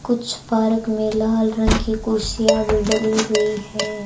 कुछ पारक में लाल रंग की कुर्सियाँ भीं डली हुई है।